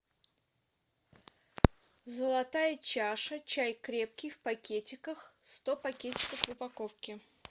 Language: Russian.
золотая чаша чай крепкий в пакетиках сто пакетиков в упаковке